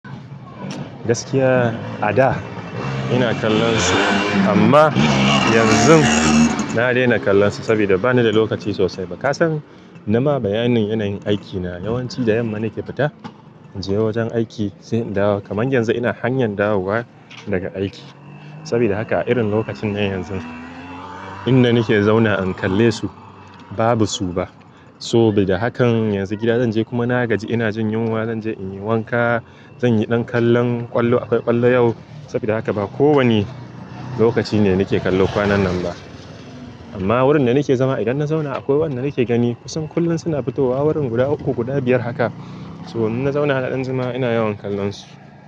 Gaskiya a da ina kallon su amma yanzu na daina kallon su saboda bani da lokaci sosai. Ba kasan nama bayanin yanayin aikina yawanci da yamma nake fita in je wajen aiki sai in dawo. Kaman yanzu ina hanyan dawowa daga aiki. Saboda haka a irin lokacin nan yanzu inda nike zauna in kalle su babu su ba. Sobada hakan yanzu gida zanje kuma na gaji ina jin yunwa zanje in yi wanka, zanyi ɗan kallon ƙwallo akwai ƙwallo yau. Saboda haka ba ko wane lokaci ne nake kallo kwanannan ba. Amma wurin da nake zama idan na zauna akwai waɗanda nake gani kusan kullum suna fito wa wurin guda uku, guda biyar haka. So in na zauna na dan juma ina yawan kallon su.